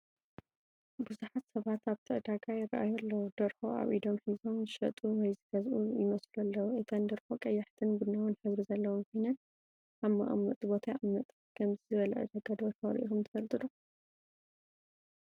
ብዙሓት ሰባት ኣብቲ ዕዳጋ ይረኣዩ ኣለዉ። ደርሆ ኣብ ኢዶም ሒዞም ዝሸጡ ወይ ዝገዝኡ ይመስሉ ኣለዉ። እተን ደርሆ ቀያሕትን ቡናውን ሕብሪ ዘለወን ኮይነን ኣብ መቀመጢ ቦታ ይቕመጣ። ከምዚ ዝበለ ዕዳጋ ደርሆ ርኢኹም ትፈልጡ ዶ?